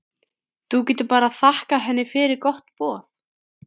Þú getur bara þakkað henni fyrir gott boð.